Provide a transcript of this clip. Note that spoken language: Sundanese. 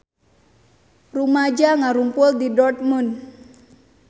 Rumaja ngarumpul di Dortmund